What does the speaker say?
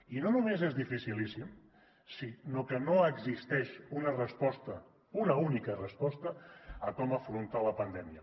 i no només és dificilíssim sinó que no existeix una resposta una única resposta de com afrontar la pandèmia